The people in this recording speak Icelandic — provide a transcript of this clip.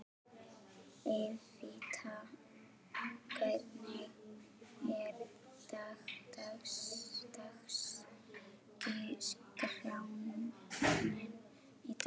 Evíta, hvernig er dagskráin í dag?